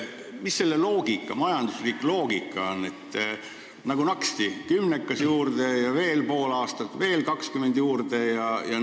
Mis selle majanduslik loogika on, et nagu naksti kümnekas juurde ja veel pool aastat, ning veel 20 juurde?